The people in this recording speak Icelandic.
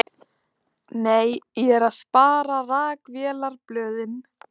Nei, ég er að spara. rakvélarblöðin.